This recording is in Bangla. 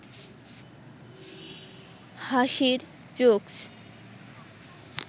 হাসির জোকস্